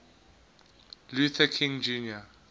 luther king jr